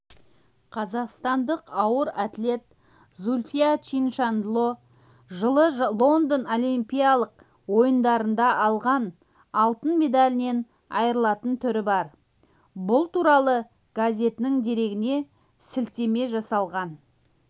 қазақстандық ауыр атлет зүлфия чиншанло жылы лондон олимпиялық ойындарында алған алтын медалінен айрылатын түрі бар бұл туралы газетінің дерегіне сілтеме жасаған